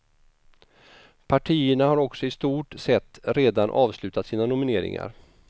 Partierna har också i stort sett redan avslutat sina nomineringar.